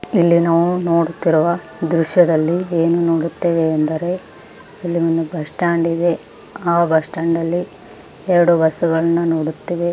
ಇಲ್ಲಿ ನಾವು ನೋಡುತ್ತಿರುವ ದ್ರಶ್ಯದಲ್ಲಿ ಏನು ನೋಡುತ್ತೇವೆ ಅಂದರೆ ಇಲ್ಲಿ ಒಂದು ಬಸ್ ಸ್ಟಾಂಡ್ ಇದೆ ಆ ಬಸ್ಸ್ಟಾಂಡ್ ಲ್ಲಿ ಎರಡು ಬಸ್ಸುಗಳನ್ನು ನೋಡುತ್ತೇವೆ.